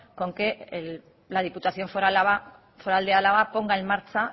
con que la diputación foral de álava ponga en marcha